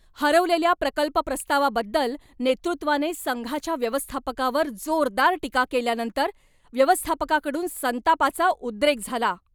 हरवलेल्या प्रकल्प प्रस्तावाबद्दल नेतृत्वाने संघाच्या व्यवस्थापकावर जोरदार टीका केल्यानंतर व्यवस्थापकाकडून संतापाचा उद्रेक झाला.